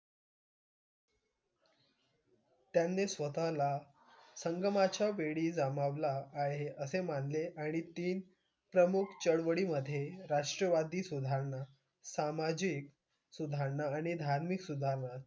त्यांनी स्वतःला संगमाच्या वेळी आहे असे मानले आणि तीन प्रमुख चळवळींमधे राष्ट्रवादी सुधारणा, सामाजिक सुधारणा आणि धार्मिक सुधारणा,